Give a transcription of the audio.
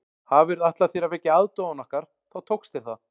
Hafirðu ætlað þér að vekja aðdáun okkar þá tókst þér það